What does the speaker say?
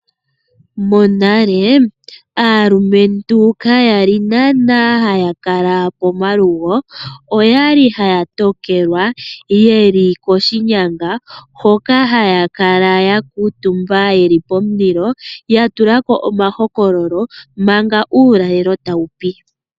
Monale aalumentu kayali naanaa haya kala komalugo oyali haya tokelwa yeli koshinyanga hoka haya kala yeli pomulilo yatulako omahokololo manga uulalelo tawupi.